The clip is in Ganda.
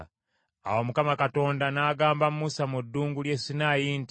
Awo Mukama Katonda n’agamba Musa mu ddungu ly’e Sinaayi nti,